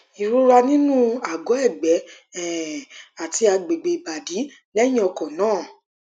ìrora nínú àgọ ẹgbẹ um àti agbègbè ìbàdí lẹyìn ọkọ náà